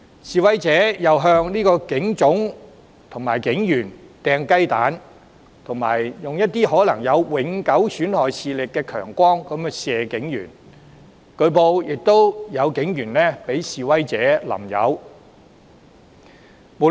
示威者又向警總及警員投擲雞蛋，以及使用可能永久損害視力的強光射向警員，據報更有示威者向警員潑油。